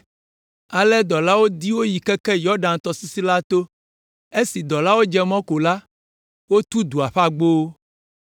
Ale dɔlawo di wo yi keke Yɔdan tɔsisi la to. Esi dɔlawo dze mɔ ko la, wotu dua ƒe agbowo.